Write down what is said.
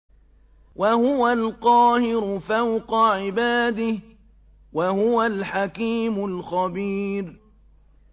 وَهُوَ الْقَاهِرُ فَوْقَ عِبَادِهِ ۚ وَهُوَ الْحَكِيمُ الْخَبِيرُ